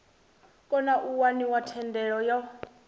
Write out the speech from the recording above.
kona u waniwa thendelo yo